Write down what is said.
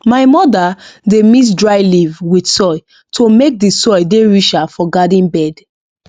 my mother dey mix dry leave with soil to make the soil dey richer for garden bed